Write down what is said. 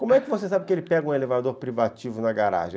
Como é que você sabe que ele pega um elevador privativo na garagem?